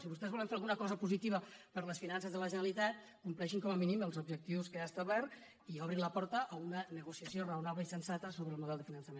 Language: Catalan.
si vostès volen fer alguna cosa positiva per a les finances de la generalitat com·pleixin com a mínim els objectius que hi ha establerts i obrin la porta a una negociació raonable i sensata so·bre el model de finançament